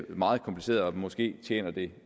meget kompliceret og måske tjener det